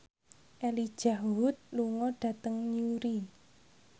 Elijah Wood lunga dhateng Newry